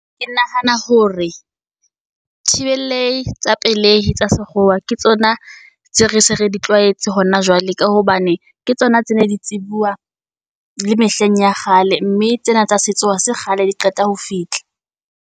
Ke nahana hore thibelehi tsa pelehi tsa sekgowa ke tsona tse re se re di tlwaetse hona jwale. Ka hobane ke tsona tse ne di tsebuwa le mehleng ya kgale mme tsena tsa setso ha se kgale di qeta ho fihla.